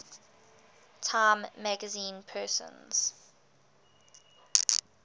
time magazine persons